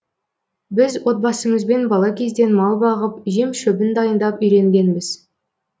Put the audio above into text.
біз отбасымызбен бала кезден мал бағып жем шөбін дайындап үйренгенбіз